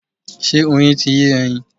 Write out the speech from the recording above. Ṣé Oyin ti yé ẹyin?